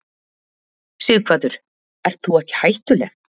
Sighvatur: Ert þú ekki hættuleg?